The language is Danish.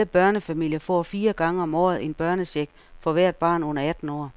Alle børnefamilier får fire gange om året en børnecheck for hvert barn under atten år.